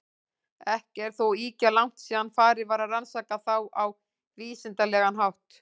Ekki er þó ýkja langt síðan farið var að rannsaka þá á vísindalegan hátt.